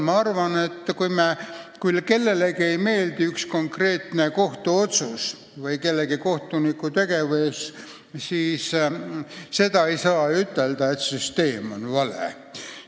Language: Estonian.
Ma arvan, et kui kellelegi ei meeldi mõni konkreetne kohtuotsus või mõne kohtuniku tegevus, siis sellest ei maksa järeldada, et süsteem on vale.